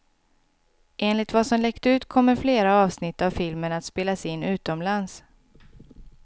Enligt vad som läckt ut kommer flera avsnitt av filmen att spelas in utomlands.